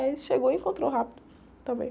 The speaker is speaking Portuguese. Aí a gente chegou e encontrou rápido também.